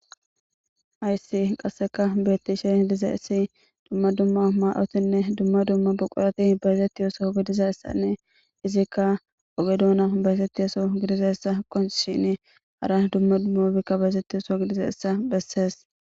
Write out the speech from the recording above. Aysi qasseka beettishe liza issi dumma dumma maa'otinne dumma dumma buqorati bayzetti yooso gidiza issanne izikka oge doona baysetti oso gidizassa qonshini hara dumma dummo bikka bayzettiyoso gidiza essa bessees.